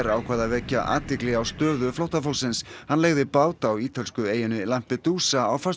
ákvað að vekja athygli á stöðu flóttafólksins hann leigði bát á ítölsku eyjunni